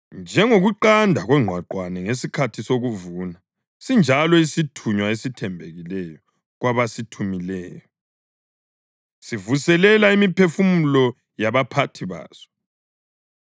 Njengokuqanda kongqwaqwane ngesikhathi sokuvuna sinjalo isithunywa esithembekileyo kwabasithumileyo; sivuselela imiphefumulo yabaphathi baso.